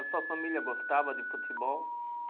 A sua família gostava de futebol?